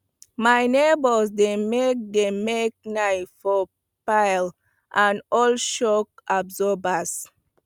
my neighbours dey make dey make knives from files and old shock absorbers